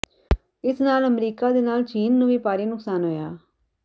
ਇਸ ਨਾਲ ਅਮਰੀਕਾ ਦੇ ਨਾਲ ਚੀਨ ਨੂੰ ਵੀ ਭਾਰੀ ਨੁਕਸਾਨ ਹੋਇਆ